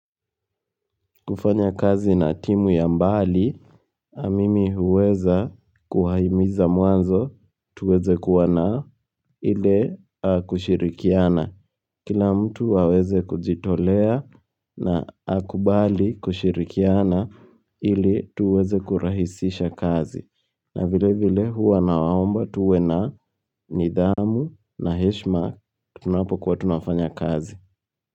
Kufanya kazi na timu ya mbali, a mimi huweza kuwahimiza mwanzo tuweze kuwa na ili kushirikiana. Kila mtu aweze kujitolea na akubali kushirikiana ili tuweze kurahisisha kazi. Na vile vile huwa na waomba tuwe na nidhamu na heshima tunapokuwa tunafanya kazi.